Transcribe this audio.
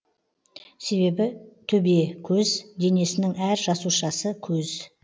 себебі төбекөз денесінің әр жасушасы көз